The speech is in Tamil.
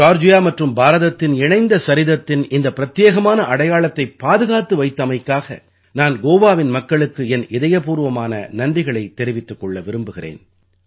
ஜார்ஜியா மற்றும் பாரதத்தின் இணைந்த சரித்திரத்தின் இந்த பிரத்யேகமான அடையாளத்தைப் பாதுகாத்து வைத்தமைக்காக நான் கோவாவின் மக்களுக்கு என் இதயபூர்வமான நன்றிகளைத் தெரிவித்துக் கொள்ள விரும்புகிறேன்